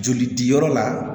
Joli diyɔrɔ la